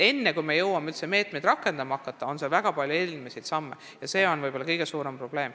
Enne, kui me jõuame üldse meetmeid rakendama hakata, on vaja astuda veel palju samme.